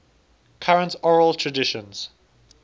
current oral traditions